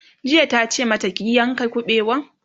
jiya tace mata "ki yanka kabewan!'